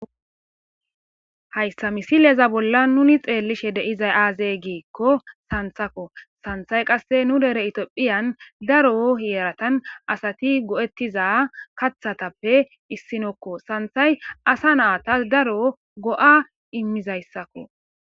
hayssa misileza bolla nuni xeellishe deizay aazee giikko santhako santhay qasse nu dere itiophiyan daro hieratan asati go7ettiza kathatappe issinokko santhay asa naata daro go7a immizayssakko